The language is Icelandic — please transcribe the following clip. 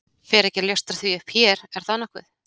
Fer ekki að ljóstra því upp hér, er það nokkuð?